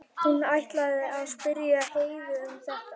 Hún ætlaði að spyrja Heiðu um þetta.